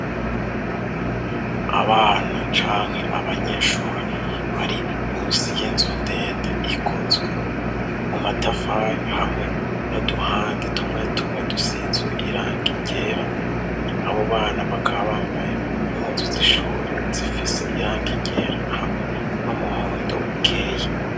Abana canke abanyeshuri bari munsi y'inzu ndende ikozwe mu matafari hamwe n'Uduhande tumwe tumwe dusizwe irangi ryera. Abo bana bakaba bambaye impuzu z'ishuri zifise irangi rygera hamwe n'umuhondo ukeye.